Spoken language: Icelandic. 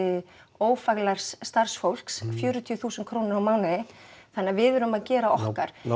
ófaglærðs starfsfólks fjörutíu þúsund krónur á mánuði þannig að við erum að gera okkar